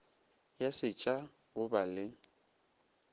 ya setšha go ba le